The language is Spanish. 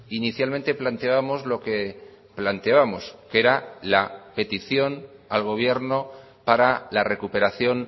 inicialmente planteábamos lo que planteábamos que era la petición al gobierno para la recuperación